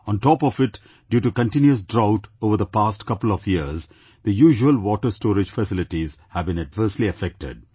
On top of it, due to continuous drought over the past couple of years, the usual water storage facilities have been adversely affected